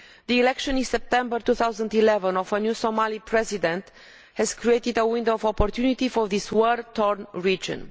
The election in September 2011 of a new Somali President has created a window of opportunity for this war torn region.